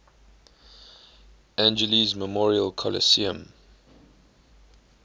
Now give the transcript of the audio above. angeles memorial coliseum